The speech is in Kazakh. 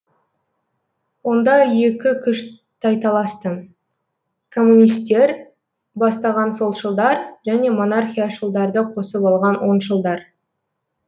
онда екі күш тайталасты коммунистер бастаған солшылдар және монархияшылдарды қосып алған оңшылдар